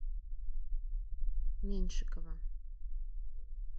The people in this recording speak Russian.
меньшикова